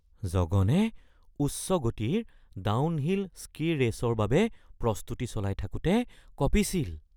জগনে উচ্চ গতিৰ ডাউনহিল স্কি-ৰেচৰ বাবে প্ৰস্তুতি চলাই থাকোঁতে কঁপিছিল